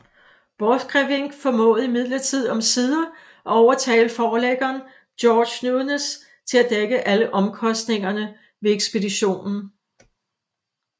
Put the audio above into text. Borchgrevink formåede imidlertid omsider at overtale forlæggeren George Newnes til at dække alle omkostningerne ved ekspeditionen